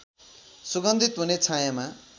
सुगन्धित हुने छायाँमा